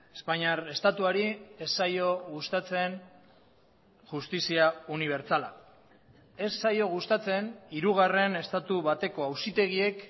espainiar estatuari ez zaio gustatzen justizia unibertsala ez zaio gustatzen hirugarren estatu bateko auzitegiek